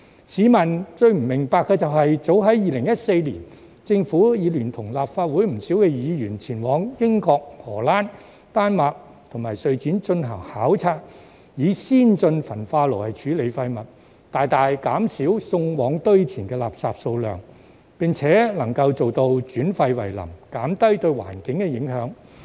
市民不明白的是，早於2014年，政府已聯同立法會不少議員前往英國、荷蘭、丹麥及瑞典進行考察以先進焚化爐處理廢物，大大減少送往堆填的垃圾數量，並能做到轉廢為能，減低對環境的影響。